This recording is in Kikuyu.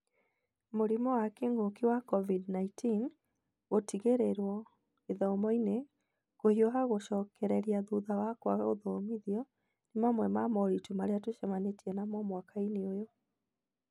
Mũrimũ wa kĩng'ũki wa COVID-19, gũtigĩrĩrwo gĩthomo-inĩ, kũhiũha gũcokereria thutha wa kwaga gũthomithia, nĩ mamwe ma moritũ marĩa tũcemanĩtie namo mwaka-inĩ ũyũ.